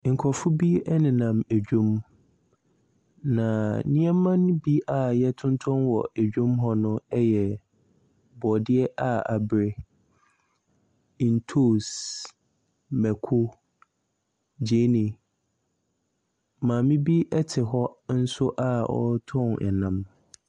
Nkorɔfo bi ɛnenam adwam, na nneɛma ne bi a yɛtontɔn ɛwɔ dwa mu ne mu hɔ ne bi ɛyɛ borɔdeɛ a abere, ntoose, mako, gyeene. Maame ɛte hɔ nso a ɔretɔn ɛnam.